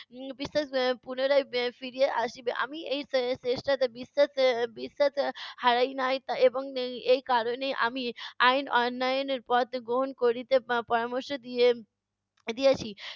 উম পুনরায় ফিরিয়া আসিবে। আমি এই চেষ্টাতে বিশ্বাস বিশ্বাস হারাই নাই এবং এই কারণেই আমি আইন অন্যায়নের পথ গ্রহণ করিতে প~ পরামর্শ দিয়ে~ দিয়েছি।